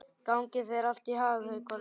Gangi þér allt í haginn, Haukvaldur.